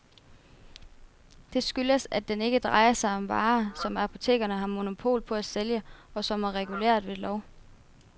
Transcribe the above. Det skyldes, at den ikke drejer sig om varer, som apotekerne har monopol på at sælge og som er reguleret ved lov.